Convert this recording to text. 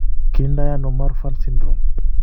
Kiinto ano Marfan syndrome?